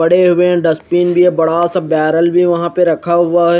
बड़े हुए डस्टबिन भी है बड़ा सा बेरल भी वहा पर रखा हुआ है।